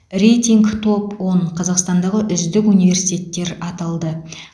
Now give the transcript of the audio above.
рейтинг топ он қазақстандағы үздік университеттер аталды